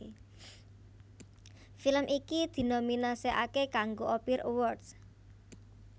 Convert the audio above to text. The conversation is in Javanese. Film iki dinominasèkaké kanggo Ophir Awards